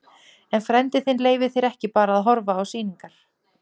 En frændi þinn leyfir þér ekki bara að horfa á sýningar.